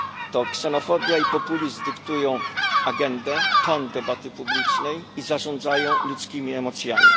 To ksenofobia i populizm dyktują agendę, ton debaty publicznej i zarządzają ludzkimi emocjami.